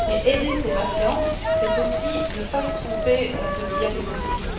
Aider ces patients, c'est aussi ne pas se tromper de diagnostic.